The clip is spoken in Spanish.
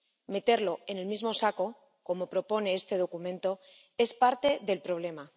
Meterlo en el mismo saco, como propone este documento, es parte del problema.